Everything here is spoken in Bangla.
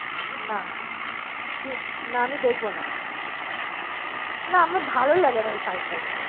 না না আমি দেখবো না আমার ভালোলাগে না ওই ফাই ফাই